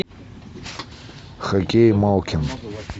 хоккей малкин